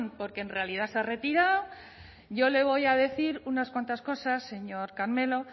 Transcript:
porque en realidad se ha retirado yo le voy a decir unas cuantas cosas señor carmelo